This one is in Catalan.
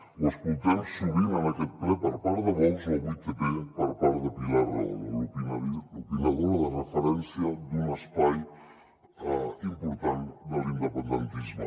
ho escoltem sovint en aquest ple per part de vox o a 8tv per part de pilar rahola l’opinadora de referència d’un espai important de l’independentisme